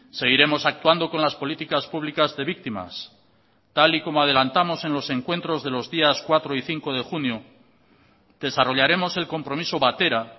seguiremos actuando con las políticas públicas de víctimas tal y como adelantamos en los encuentros de los días cuatro y cinco de junio desarrollaremos el compromiso batera